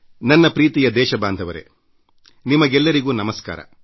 ನನ್ನ ಪ್ರೀತಿಯ ದೇಶವಾಸಿಗಳೇ ನಿಮಗೆಲ್ಲರಿಗೂ ನಮಸ್ಕಾರ